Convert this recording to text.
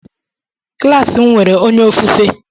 Klas m nwere onye ofufe.